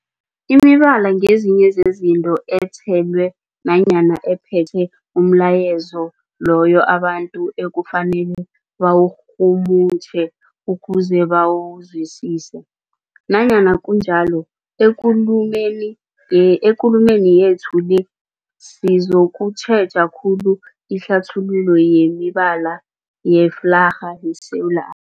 Imibala ngezinye zezinto ethelwe nanyana ephethe umlayezo loyo abantu ekufanele bawurhumutjhe ukuze bawuzwisise. Nanyana kunjalo, ekulumeni ye ekulumeni yethu le sizokutjheja khulu ihlathululo yemibala yeflarha yeSewula A